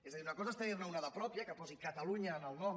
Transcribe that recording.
és a dir una cosa és tenirne una de pròpia que posi catalunya en el nom